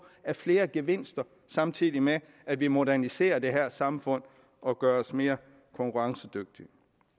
af flere gevinster samtidig med at vi moderniserer det her samfund og gør os mere konkurrencedygtige